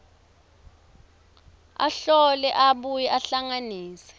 ahlole abuye ahlanganise